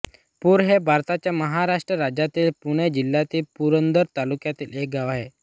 पूर हे भारताच्या महाराष्ट्र राज्यातील पुणे जिल्ह्यातील पुरंदर तालुक्यातील एक गाव आहे